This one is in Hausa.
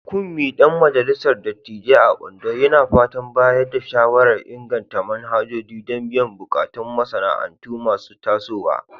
Kunmi, dan majalisar dattijai a Ondo, yana fatan bayar da shawarar inganta manhajoji don biyan bukatun masana'antu masu tasowa.